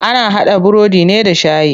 Ana haɗa burodi ne da shayi.